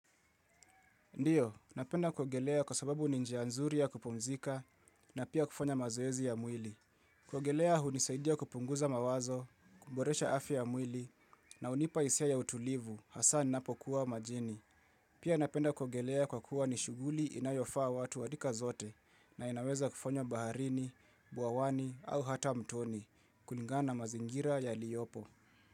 Ndiyo, napenda kuogelea kwa sababu ni njia nzuri ya kupumzika na pia kufanya mazoezi ya mwili. Kuogelea hunisaidia kupunguza mawazo, kuboresha afya ya mwili na unipa hisia ya utulivu, hasa ninapokuwa majini. Pia napenda kuogelea kwa kuwa ni shuguli inayofaa watu wa rika zote na inaweza kufanywa baharini, buawani au hata mtoni, kulingana mazingira yaliyopo.